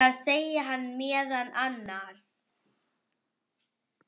Þar segir hann meðal annars